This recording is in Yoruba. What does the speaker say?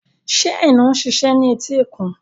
Ṣé Aina ń ṣiṣẹ́ ní etíkun?